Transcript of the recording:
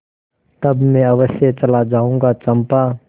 तब मैं अवश्य चला जाऊँगा चंपा